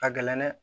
Ka gɛlɛn dɛ